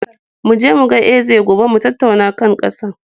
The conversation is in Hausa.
Mu je mu ga Eze gobe mu tattauna kan ƙasar.